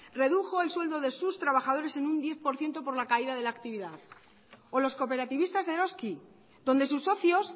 redujo el sueldo de sus trabajadores en un diez por ciento por la caída de la actividad o los cooperativistas de eroski donde sus socios